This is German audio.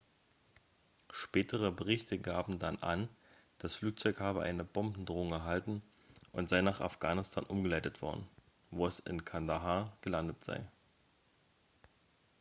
spätere berichte gaben dann an das flugzeug habe eine bombendrohung erhalten und sei nach afghanistan umgeleitet worden wo es in kandahar gelandet sei